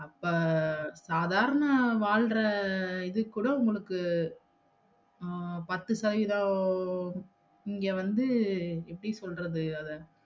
அப்ப சாதாரண வாழ்ற இது கூட உங்களுக்கு அஹ் பத்து சதவீத இங்க வந்து எப்படி சொல்றது அத